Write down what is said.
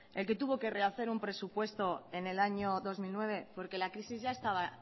el que tuvo que rehacer un presupuesto en el año dos mil nueve porque la crisis ya estaba